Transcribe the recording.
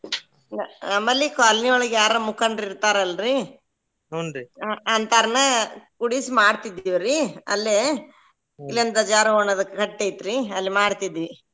ನಮ್ಮಲ್ಲಿ colony ಒಳಗ ಯಾರ್ರ ಮುಖಂಡರ ಇರ್ತಾರಲ್ರಿ ಅಂತರ್ನ ಕೂಡಿಸಿ ಮಾಡತಿದ್ವಿರಿ ಅಲ್ಲೆ ಇಲ್ಲೊಂದ್ ದ್ವಜಾರೋಹಣದ ಕಟ್ಟಿ ಐತ್ರಿ ಅಲ್ಲಿ ಮಾಡ್ತಿದ್ವಿ.